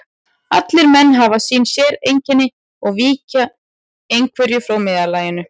Allir menn hafa sín séreinkenni og víkja í einhverju frá meðallaginu.